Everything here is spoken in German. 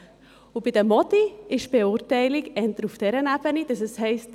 Bei den Mädchen ist die Beurteilung eher auf dieser Ebene, dass es heisst: